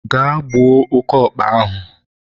gaa gbuo oke okpa ahụ!